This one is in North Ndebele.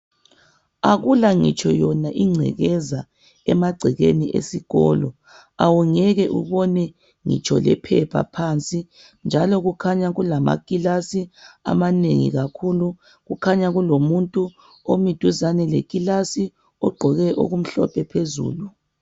akula ngitsho incekeza emacekeni eskolo awungeke ubone ngitsho lephepha phansi njalo kukhanya kulama kilasi amanengi kakhulu kukhanya kulomuntu omi duzane le kilasiogqoke okumhlophe phezulu